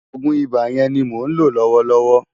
Ògún Ibá yèn ni mó nló lòwòlòwò